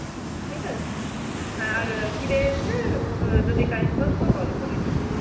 ঠিক আছে? হ্যাঁ, ফিরে এসে যদি time পাস তো call করিস.